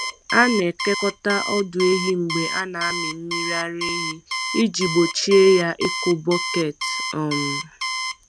A na-ekekọta ọdụ ehi mgbe a na-amị mmiri ara ehi iji gbochie ya ịkụ bọket. um